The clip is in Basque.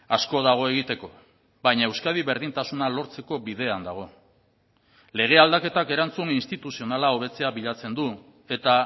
asko dago egiteko baina euskadi berdintasuna lortzeko bidean dago lege aldaketak erantzun instituzionala hobetzea bilatzen du eta